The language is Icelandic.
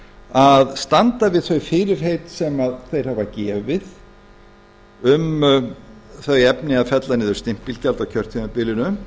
að standa við þau fyrirheit sem þeir hafa gefið um þau efni að fella niður stimpilgjald á kjörtímabilinu